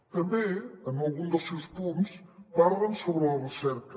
també en algun dels seus punts parlen sobre la recerca